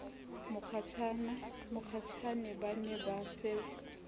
mokgatjhane ba ne ba se